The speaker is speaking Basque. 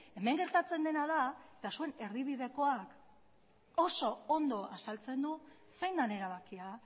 hemen gertatzen dena da eta zuen erdibidekoa oso ondo azaltzen du zein den erabakia